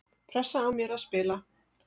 Pressa á mér að spila